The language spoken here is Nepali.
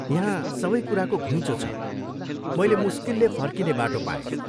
यहाँ सबै कुराको घुइँचो छ, मैले मुस्किलले फर्किने बाटो पाएँ।